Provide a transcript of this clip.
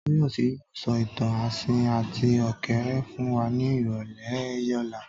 Tóyọ̀sí yóò sọ ìtàn asín àti ọ̀kẹ́rẹ́ fún wa ní ìrọ̀lẹ́ ọ̀la